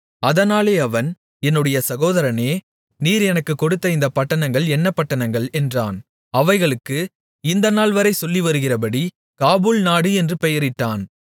அதனாலே அவன் என்னுடைய சகோதரனே நீர் எனக்குக் கொடுத்த இந்தப் பட்டணங்கள் என்ன பட்டணங்கள் என்றான் அவைகளுக்கு இந்த நாள்வரை சொல்லி வருகிறபடி காபூல் நாடு என்று பெயரிட்டான்